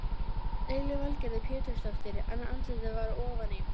Lillý Valgerður Pétursdóttir: En andlitið var ofan í?